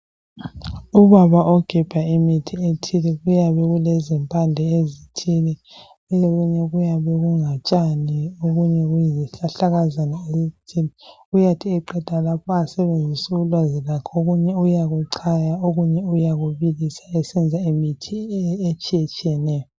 Ubaba ogebha imithi ethile, kuyabe kulezimpande ezithile .okunye kuyabe kulutshani, okunye kuyizihlahlakazana. Uyathi eqeda lapha asebenzise ulwazi lwakhe okunye uyabe echaya okunye uyakubilisa esenza imithi etshiyetshiyeneyo.